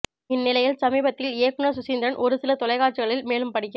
இந்நிலையில் சமீபத்தில் இயக்குனர் சுசீந்திரன் ஒரு சில தொலைக்காட்சிகளில் மேலும் படிக்க